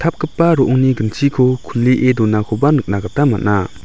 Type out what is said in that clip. ro·ongni ginchiko kulie donakoba nikna gita man·a.